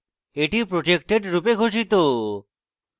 এটি protected রূপে ঘোষিত